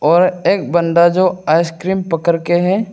और एक बंदा जो आइसक्रीम पकड़ के है।